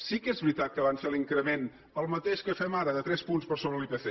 sí que és veritat que van fer l’increment el mateix que fem ara de tres punts per sobre l’ipc